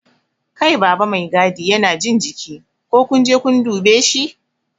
Kai baba Mai gadi Yana jin jiki, ko kunje kun dube shi?